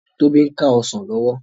Tobi n ká òsán lòwò